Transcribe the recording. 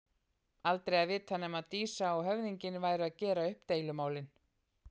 Aldrei að vita nema Dísa og höfðinginn væru að gera upp deilumálin.